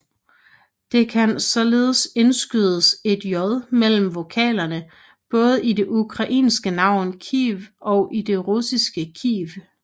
Der kan således indskydes et j mellem vokalerne i både det ukrainske navn Kyiv og det russiske Kiev